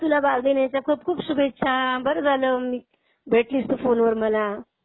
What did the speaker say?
अगं तुला बालदिनाच्या खूप खूप शुभेच्छा. बरं झालं भेटलीस तू फोनवर मला.